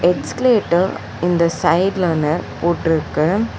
Escalator இந்த சைடுல ஒன்னு போட்ருக்கு.